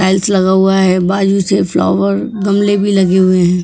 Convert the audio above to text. Tiles लगा हुआ है बाजू से फ्लावर गमले भी लगे हुए हैं।